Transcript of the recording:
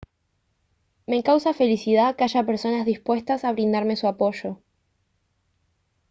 me causa felicidad que haya personas dispuestas a brindarme su apoyo